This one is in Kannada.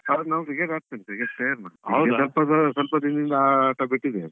ಹೌದು cricket ಆಡ್ತಿದ್ವಿ cricket player ನಾನು. ಈಗ ಈಗ ಸ್ವಲ್ಪ ದಿನದಿಂದಾ ಆ ಆಟ ಬಿಟ್ಟಿದ್ದೇವೆ.